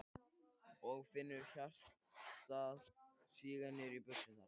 Og finnur hjartað síga niður í buxurnar.